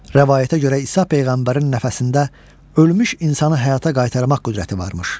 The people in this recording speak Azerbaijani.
Rəvayətə görə İsa Peyğəmbərin nəfəsində ölmüş insanı həyata qaytarmaq qüdrəti varmış.